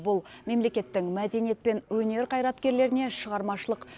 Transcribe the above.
бұл мемлекеттің мәдениет пен өнер қайраткерлеріне шығармашылық